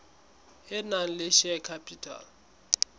e nang le share capital